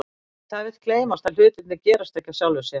En það vill gleymast að hlutirnir gerast ekki af sjálfu sér.